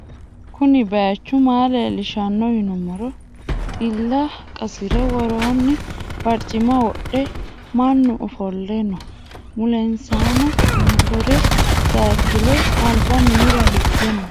kuuni bayichu maa lelishano yiinumoro xiila qasire wooroni baricima wodhe maanu offole noo. mulensano mottori sayikile alba minnira hiige noo.